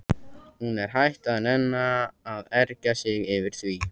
Hún er hætt að nenna að ergja sig yfir því.